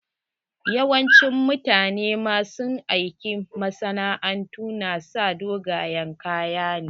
Yawancin mutane ma su aikin masana'antu na sa dogayen kaya ne.